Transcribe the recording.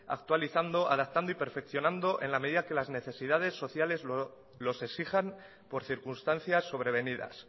actualizando adaptando y perfeccionando en la medida que las necesidades sociales los exijan por circunstancias sobrevenidas